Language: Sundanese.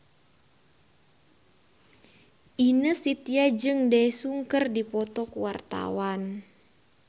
Ine Shintya jeung Daesung keur dipoto ku wartawan